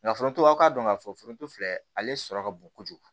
Nka foronto a k'a dɔn k'a fɔ foronto filɛ ale sɔrɔ ka bon kojugu